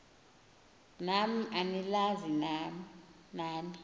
nam anilazi nani